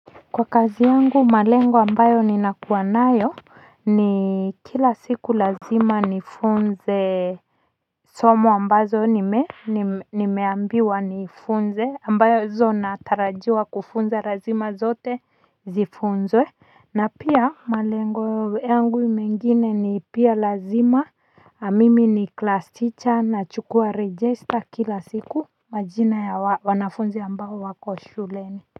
Kwa kazi yangu malengo ambayo ninakuwa nayo ni kila siku lazima nifunze somo ambazo nimeambiwa nifunze ambazo natarajiwa kufunzwa lazima zote zifunzwe na pia malengo yangu mengine ni pia lazima mimi ni class teacher nachukua register kila siku majina ya wanafunzi ambao wako shuleni.